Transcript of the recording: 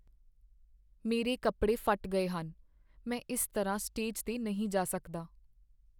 ਮੇਰਾ ਕੱਪੜੇ ਫੱਟ ਗਏ ਹਨ। ਮੈਂ ਇਸ ਤਰ੍ਹਾਂ ਸਟੇਜ 'ਤੇ ਨਹੀਂ ਜਾ ਸਕਦਾ।